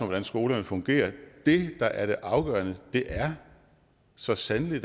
hvordan skolerne fungerer det der er det afgørende er da så sandelig